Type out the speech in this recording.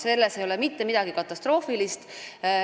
Selles ei ole mitte midagi katastroofilist.